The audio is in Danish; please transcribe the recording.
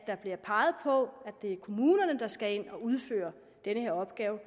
der bliver peget på at det er kommunerne der skal ind og udføre den her opgave